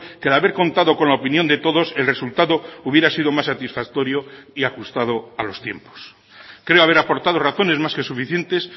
que de haber contado con la opinión de todos el resultado hubiera sido más satisfactorio y ajustado a los tiempos creo haber aportado razones más que suficientes